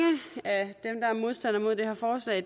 af dem der er modstandere af det her forslag